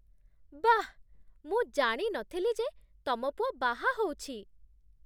ବାଃ! ମୁଁ ଜାଣି ନଥିଲି ଯେ ତମ ପୁଅ ବାହା ହଉଛି!